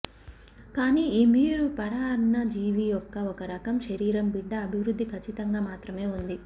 కానీ ఈ మీరు పరాన్నజీవి యొక్క ఒక రకం శరీరం బిడ్డ అభివృద్ధి ఖచ్చితంగా మాత్రమే ఉంది